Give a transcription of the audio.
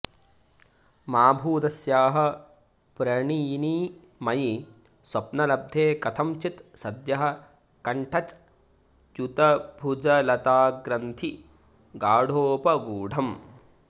मा भूदस्याः प्रणयिनि मयि स्वप्नलब्धे कथं चित् सद्यः कण्ठच्युतभुजलताग्रन्थि गाढोपगूढम्